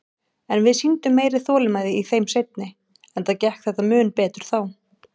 En við sýndum meiri þolinmæði í þeim seinni, enda gekk þetta mun betur þá.